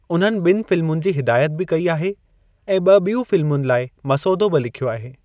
उन्हनि ॿिनि फ़िल्मुनि जी हिदायत बि कई आहे ऐं ॿ बियूं फ़िल्मुनि लाइ मसौदो बि लिख्यो आहे।